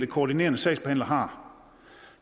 koordinerende sagsbehandler har